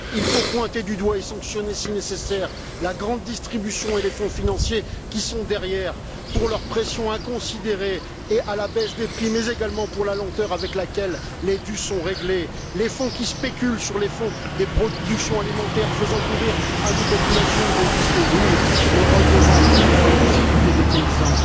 Il faut pointer du doigt et sanctionner, si nécessaire, la grande distribution et les fonds financiers qui sont derrière, pour leur pression inconsidérée à la baisse des prix, mais également pour la lenteur avec laquelle les dus sont réglés, les fonds qui spéculent sur les productions alimentaires, faisant courir à nos populations des risques lourds, et le rôle des banques dans les difficultés des paysans.